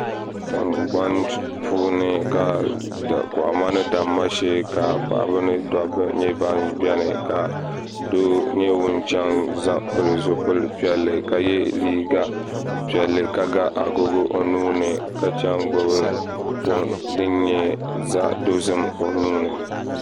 Kohamma ni damma shee ka paɣaba ni dabba nyɛ ban biɛni ka doo nyɛ ŋun chɛŋ pili zipili piɛlli ka yɛ liiga piɛlli ka ga agogo o nuuni ka gbubi foon din nyɛ zaɣ dozim o nuuni